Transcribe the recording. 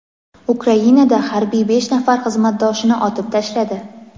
Ukrainada harbiy besh nafar xizmatdoshini otib tashladi.